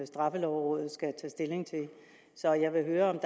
straffelovrådet skal tage stilling til så jeg vil høre om